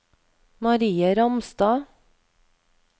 Marie Ramstad